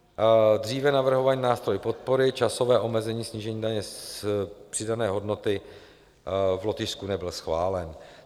Dříve navrhovaný nástroj podpory časové omezení snížení daně z přidané hodnoty v Lotyšsku nebyl schválen.